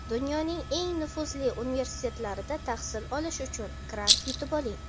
Dunyoning eng nufuzli universitetlarida tahsil olish uchun grant yutib oling!.